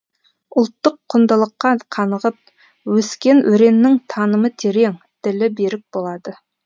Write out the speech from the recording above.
ұлттық құндылыққа қанығып өскен өреннің танымы терең ділі берік болады